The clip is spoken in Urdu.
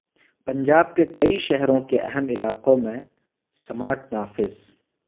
پنجاب کےکئی شہروں کے اہم علاقوں میں سمارٹ نافذ